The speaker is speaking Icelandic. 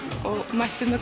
mættum við